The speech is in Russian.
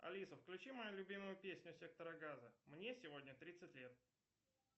алиса включи мою любимую песню сектора газа мне сегодня тридцать лет